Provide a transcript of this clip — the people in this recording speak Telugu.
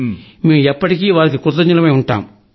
మేం ఎప్పటికీ వారికి కృతజ్ఞులమై ఉంటాం